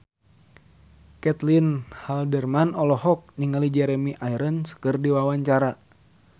Caitlin Halderman olohok ningali Jeremy Irons keur diwawancara